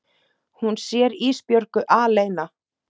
Hún sér Ísbjörgu aleina.